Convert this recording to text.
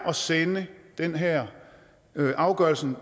at sende den her afgørelse